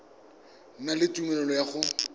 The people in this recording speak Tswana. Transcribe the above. na le tumelelo ya go